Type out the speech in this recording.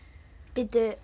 bíddu